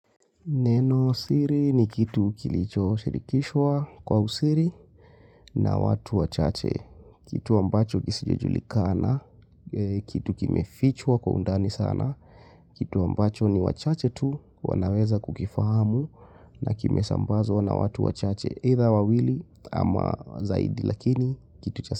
Neno siri ni kitu kilicho shirikishwa kwa usiri na watu wachache. Kitu ambacho kisichojulikana, kitu kimefichwa kwa undani sana, kitu ambacho ni wachache tu wanaweza kukifahamu na kimesambazwa na watu wachache either wawili ama zaidi lakini kitu chasa.